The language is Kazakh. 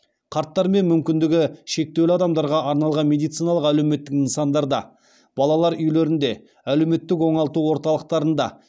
қарттар мен мүмкіндігі шектеулі адамдарға арналған медициналық әлеуметтік нысандарда балалар үйлерінде әлеуметтік оңалту орталықтарында